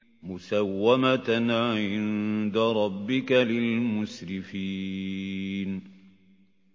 مُّسَوَّمَةً عِندَ رَبِّكَ لِلْمُسْرِفِينَ